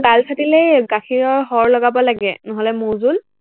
গাল ফাটিলে গাখীৰৰ সৰ লগাব লাগে, নহলে মৌ জুল